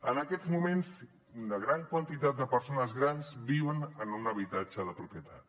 en aquests moments una gran quantitat de persones grans viuen en un habitatge de propietat